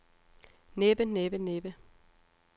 næppe næppe næppe